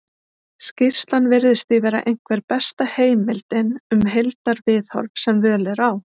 skýrslan virðist því vera einhver besta heimildin um heildarviðhorf sem völ er á